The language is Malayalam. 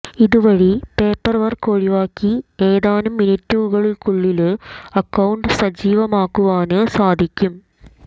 ഇതുവഴി പേപ്പര് വര്ക്ക് ഒഴിവാക്കി ഏതാനും മിനിറ്റുകള്ക്കുള്ളില് അക്കൌണ്ട് സജീവമാക്കുവാന് സാധിക്കും